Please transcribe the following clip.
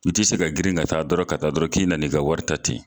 I te se ka girin ka taa dɔrɔn ka taa dɔrɔn k'i nana i ka wari ta ten